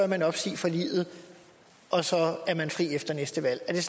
man opsige forliget og så er man fri efter næste valg